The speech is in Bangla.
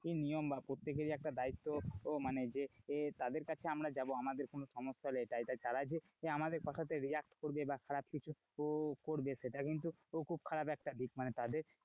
নিয়ম বা প্রত্যেকেরই একটা দায়িত্ব মানে যে তাদের কাছে আমরা যাবো আমাদের কিছু সমস্যা হলে তারা যে আমাদের কথাতে react করবে বা খারাপ কিছু করবে সেটা কিন্তু খুব খারাপ একটা দিক মানে তাদের,